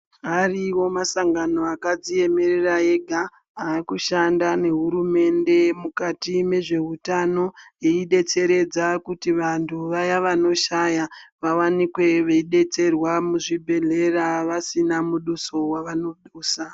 Ariyo masango akadziemera ega avakushanda nehurumende mukati nezveutano eyidetsera kuti vantu vaya vanoshaya vawanikwe veidetserwa muzvibhedhlera vasina muduso wavanodusa.